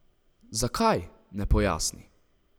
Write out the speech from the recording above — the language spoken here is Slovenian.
Zakaj, ne pojasni.